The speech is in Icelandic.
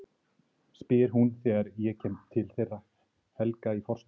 spyr hún þegar ég kem til þeirra Helga í forstofunni.